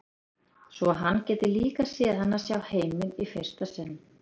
Svo að hann gæti líka séð hana sjá heiminn í fyrsta sinn.